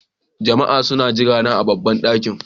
Jama'a suna jirana a babban ɗakin.